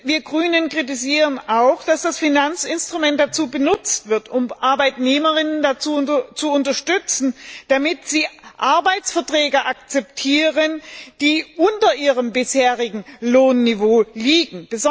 Wir Grünen kritisieren auch, dass das Finanzinstrument dazu benutzt wird, um ArbeitnehmerInnen zu unterstützen, damit sie Arbeitsverträge akzeptieren, die unter ihrem bisherigen Lohnniveau liegen.